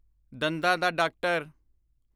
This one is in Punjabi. ਦੰਦਾਂ ਦਾ ਡਾਕਟਰ